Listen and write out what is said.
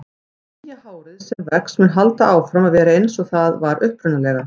Nýja hárið sem vex mun halda áfram að vera eins og það var upprunalega.